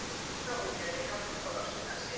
Hálka og éljagangur á Öxnadalsheiði